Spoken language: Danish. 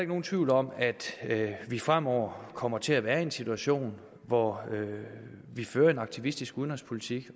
nogen tvivl om at vi fremover kommer til at være i en situation hvor vi fører en aktivistisk udenrigspolitik